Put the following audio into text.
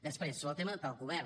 després sobre el tema del govern